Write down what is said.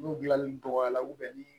N'u gilanli dɔgɔyara ubiyɛn ni